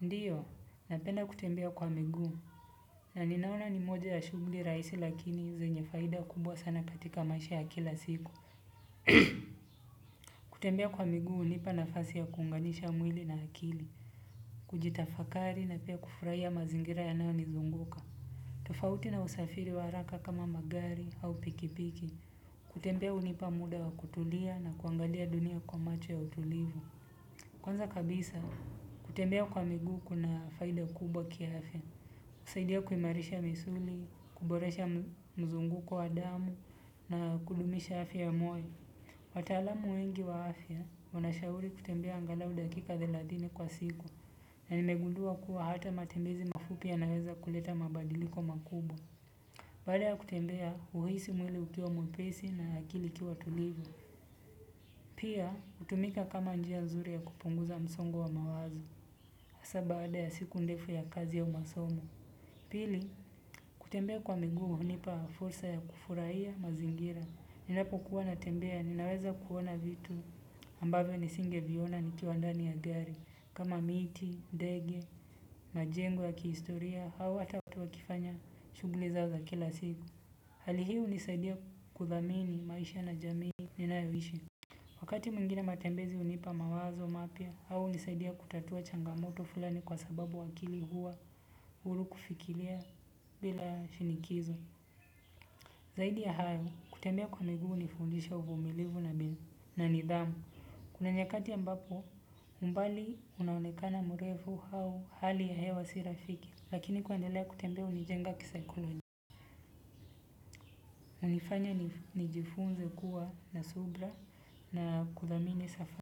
Ndiyo, napenda kutembea kwa miguu. Na ninaona ni moja ya shughuli rahisi lakini zenye faida kubwa sana katika mashi ya kila siku. Kutembea kwa miguu hunipa nafasi ya kuunganisha mwili na akili. Kujitafakari na pia kufurahia mazingira yanayonizunguka. Tofauti na usafiri wa haraka kama magari au pikipiki. Kutembea hunipa muda wa kutulia na kuangalia dunia kwa macho ya utulivu. Kwanza kabisa, kutembea kwa miguu kuna faida kubwa kiafya. Husaidia kuimarisha misuli, kuboresha mzunguko wa damu na kudumisha afya moyo. Wataalamu wengi wa afya, wanashauri kutembea angalau dakika thelathini kwa siku. Na nimegundua kuwa hata matembezi mafupi yanaweza kuleta mabadiliko makubwa. Baada ya kutembea huhisi mwili ukiwa mwepesi na akili ikiwa tulivu. Pia, hutumika kama njia uzuri ya kupunguza msongo wa mawazo. Hasa baada ya siku ndefu ya kazi au masomo. Pili, kutembea kwa miguu hunipa fursa ya kufurahia mazingira. Ninapokuwa natembea naweza kuwa naona vitu ambavyo nisingeviona nikiwa ndani ya gari. Kama miti, ndege, majengo ya kihistoria au hata watu wakifanya shughuli zao za kila siku. Hali hii hunisaidia kudhamini maisha na jamii ninayoishi. Wakati mwingine matembezi hunipa mawazo mapya au hunisaidia kutatua changamoto fulani kwa sababu akili huwa huru kufikiria bila shinikizo. Zaidi ya hayo, kutembea kwa miguu hunifundisha uvumilivu na nidhamu. Kuna nyakati ambapo, umbali unaonekana mrefu au hali ya hewa si rafiki. Lakini kuendelea kutembea hunijenga kisaikolojia. Hunifanya nijifunze kuwa na subira na kudhamini safa.